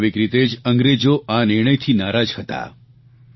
સ્વાભાવિક રીતે જ અંગ્રેજો આ નિર્ણયથી નારાજ હતા